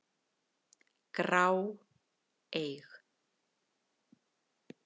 grá, eig.